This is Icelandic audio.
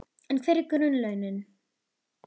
En hver eru grunnlaunin?